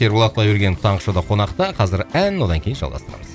ерболат құдайбергенов таңғы шоуда қонақта қазір ән одан кейін жалғастырамыз